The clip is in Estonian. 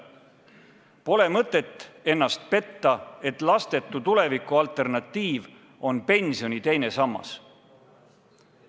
Pole mõtet ennast petta, et lastetu tuleviku alternatiiv on pensioni teine sammas.